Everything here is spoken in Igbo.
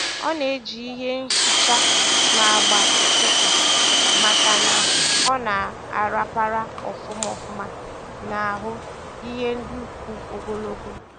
Ọ na-eji ihe nhicha na-agba ụfụfụ maka na ọ na a rapara ofuma ofuma n'ahụ ihe ndị kwụ ogologo